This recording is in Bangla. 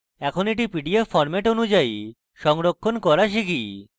এখন এটি পিডিএফ ফরম্যাট অনুযায়ী সংরক্ষণ করা শিখি